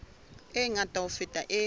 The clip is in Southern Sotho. e ngata ho feta e